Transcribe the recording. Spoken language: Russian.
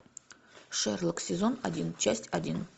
шерлок сезон один часть один